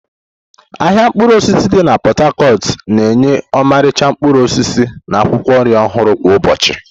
Ahịa mkpụrụ osisi di na Pot-Tacot na-enye ọmarịcha mkpụrụ osisi na akwụkwọ nri ọhụrụ kwa ụbọchị.